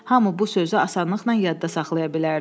Hamı bu sözü asanlıqla yadda saxlaya bilərdi.